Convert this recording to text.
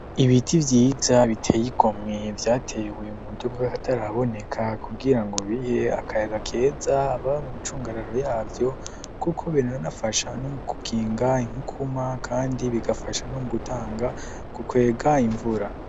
Ibiti vyiza biteye igomwe, vyatewe muburyo bw'akataraboneka, kugira ngo bihe akayaga keza ababa mu micungararo yavyo, kuko biranafasha no mu gukinga inkukura, kandi bigafasha no mu gutanga kukwega imvura.